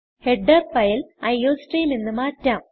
header file iostream എന്ന് മാറ്റാം